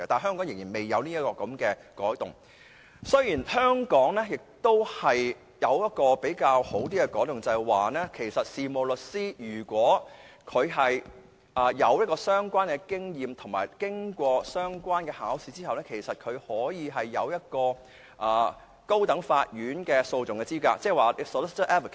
香港未有這方面改動，但香港亦有一個比較好的改動，就是如果事務律師具有相關經驗並經過相關考試，可以獲得在高等法院訴訟的資格，成為 "solicitor advocate"。